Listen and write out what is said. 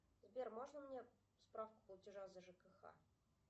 сбер можно мне справку платежа за жкх